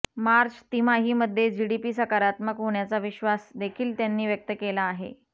मार्च तिमाहीमध्ये जीडीपी सकारात्मक होण्याचा विश्वास देखील त्यांनी व्यक्त केला आहे